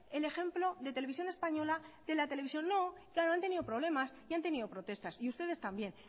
el ejemplo de televisión española de la televisión no claro han tenido problemas y han tenido protestas y ustedes también